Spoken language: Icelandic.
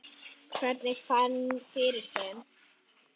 Hvernig ég fann fyrir þeim?